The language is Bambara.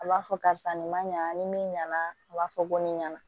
A b'a fɔ karisa nin ma ɲa ni min ɲɛna a b'a fɔ ko ne ɲɛna